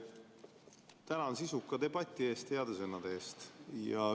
Tänan sisuka debati eest ja heade sõnade eest!